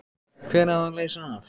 Hver á að leysa hann af?